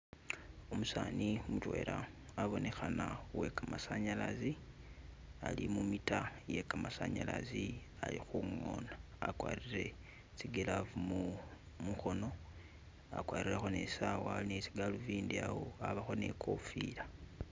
Umusani mutwela abonekhana uwe kamasanyalazi ali mu meter iye kamasanyazi ali khungona akwarire tsi glove mukhono, akwarirekho ne saawa ali tsi galuvindi awo abakho ne kofila.